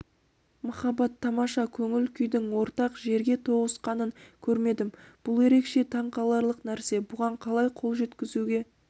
махаббат тамаша көңіл-күйдің ортақ жерге тоғысқанын көрмедім бұл ерекше таңқаларлық нәрсе бұған қалай қол жеткізуге